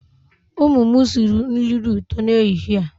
Ụmụ m sịrị nri dị ụtọ n'ehihie a.